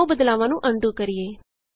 ਆਉ ਬਦਲਾਵਾਂ ਨੂੰ ਅਨਡੂ ਕਰੀਏ